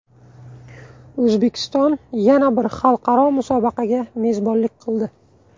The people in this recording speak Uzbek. O‘zbekiston yana bir xalqaro musobaqaga mezbonlik qildi.